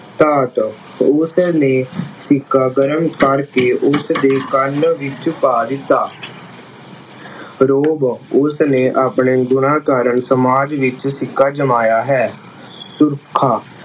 ਧਾਤ, ਉਸ ਨੇ ਸਿੱਕਾ ਗਰਮ ਕਰਕੇ ਉਸ ਦੇ ਕੰਨ ਵਿੱਚ ਪਾ ਦਿੱਤਾ ਰੋਹਬ, ਉਸ ਨੇ ਆਪਣੇ ਗੁਣਾਂ ਕਾਰਨ ਸਮਾਜ ਵਿੱਚ ਸਿੱਕਾ ਜਮਾਇਆ ਹੈ। ਰੁੱਖਾ